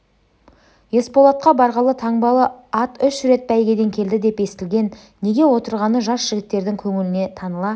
есболатқа барғалы таңбалы ат үш рет бәйгеден келді деп естілген неге отырғаны жас жігіттердің көңіліне таныла